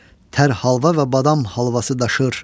Tər halva və badam halvası daşır.